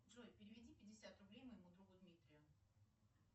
джой переведи пятьдесят рублей моему другу дмитрию